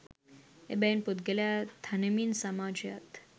එබැවින් පුද්ගලයා තනමින් සමාජයත්,